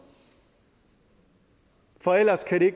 for ellers kan det